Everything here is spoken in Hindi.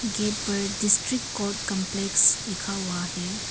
गेट पर डिस्ट्रिक्ट कोर्ट काम्प्लेक्स लिखा हुआ है।